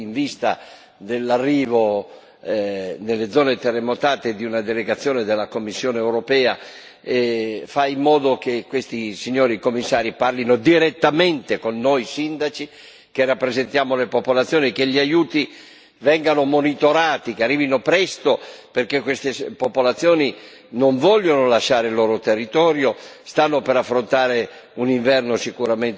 dell'arrivo nelle zone terremotate di una delegazione della Commissione europea, fai in modo che questi signori commissari parlino direttamente con noi sindaci, che rappresentiamo le popolazioni, affinché gli aiuti vengano monitorati, arrivino presto, perché queste popolazioni non vogliono lasciare il loro territorio, stanno per affrontare un inverno sicuramente temibile,